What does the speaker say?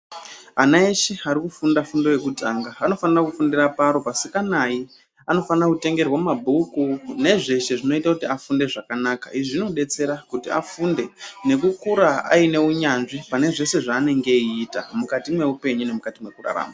Ana eshe ari kufunda fundo yekutanga anofanira kufundira paro pasikanai anofanira kutengerwa mabhuku nezveshe zvinoita kuti afunde zvakanaka izvi zvinodetsera kuti afunde nekukura aine unyanzvi pane zveshe zvaanenge eiita mukati meupenyu nemukati mwekurarama.